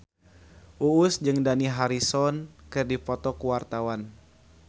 Uus jeung Dani Harrison keur dipoto ku wartawan